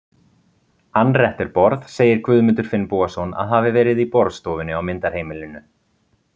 Anretterborð segir Guðmundur Finnbogason að hafi verið í borðstofunni á myndarheimilinu.